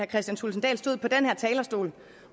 kristian thulesen dahl stod på den her talerstol